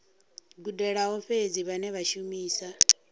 gudelaho fhedzi vhane vha shumisa